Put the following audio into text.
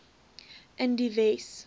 in die wes